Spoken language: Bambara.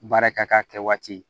Baara ka k'a kɛ waati ye